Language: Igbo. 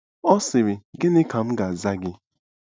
Ọ sịrị: “ Gịnị ka m ga-aza gị?